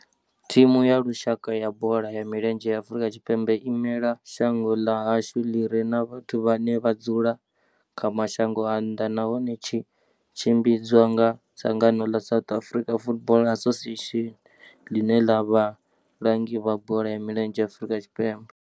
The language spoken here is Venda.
Thimu ya lushaka ya bola ya milenzhe ya Afrika Tshipembe i imela shango ḽa hashu ḽi re na vhathu vhane vha dzula kha mashango a nnḓa nahone tshi tshimbidzwa nga dzangano ḽa South African Football Association, ḽine ḽa vha vhalangi vha bola ya milenzhe Afrika Tshipembe.